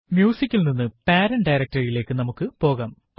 Music ൽ നിന്ന് parent directory യിലേക്ക് നമുക്ക് പോകാം